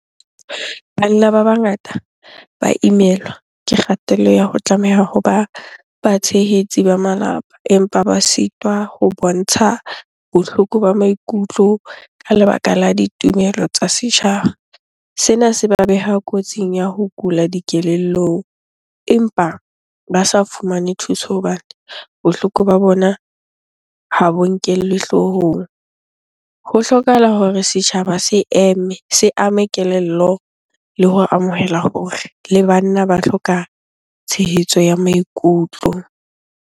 Banna ba bangata ba imelwa ke kgatello ya ho tlameha hoba batshehetsi ba malapa, empa ba sitwa ho bontsha bohloko ba maikutlo ka lebaka la ditumelo tsa setjhaba. Sena se beha kotsing ya ho kula dikelellong, empa ba sa fumane thuso hobane bohloko ba bona ha bo nkellwe hloohong. Ho hlokahala hore setjhaba se eme, se ame kelello le ho amohela hore le banna ba hloka tshehetso ya maikutlo.